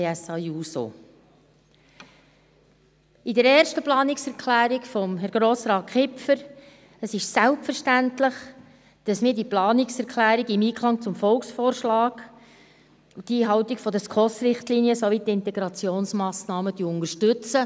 Zur ersten Planungserklärung von Herrn Grossrat Kipfer: Es ist selbstverständlich, dass wir diese Planungserklärung im Einklang mit dem Volksvorschlag, der Einhaltung der Richtlinien der Schweizerischen Konferenz für Sozialhilfe (SKOS) und der Integrationsmassnahmen unterstützen.